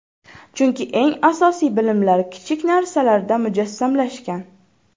Chunki eng asosiy bilimlar kichik narsalarda mujassamlashgan.